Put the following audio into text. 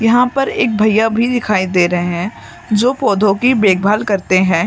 यहां पर एक भैया भी दिखाई दे रहे हैं जो पौधों की देखभाल करते हैं।